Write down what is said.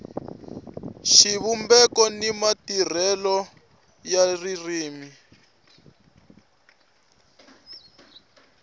xivumbeko ni matirhisele ya ririmi